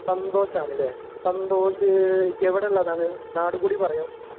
സന്തോഷാണ് ലെ സന്തോഷ് എവിടുള്ളതാണ് നാടും കൂടെ പറയോ